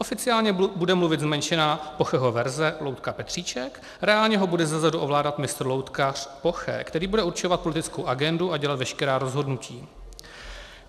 Oficiálně bude mluvit zmenšená Pocheho verze, loutka Petříček, reálně ho bude zezadu ovládat mistr loutkař Poche, který bude určovat politickou agendu a dělat veškerá rozhodnutí.